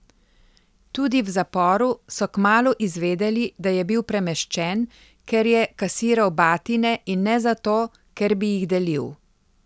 Tudi v zaporu so kmalu izvedeli, da je bil premeščen, ker je kasiral batine in ne zato, ker bi jih delil.